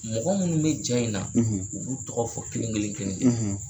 Mɔgɔ minnu bɛ na in na , e u b'u tɔgɔ fɔ kelen kelen kelen ,.